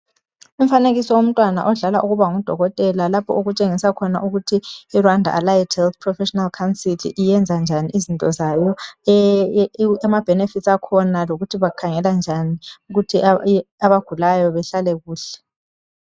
Umfanekiso womntwana odlala ukuba ngudokotela lapho oktshenisa khona ukuthi iRwanda Allied Health Professional Council iyenza njani izinto zayo , ama benefits akhona lokuthi bakhangela njani ukuthi abagulayo behlale kuhle